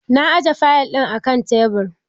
Na aje fayil ɗin akan tebur.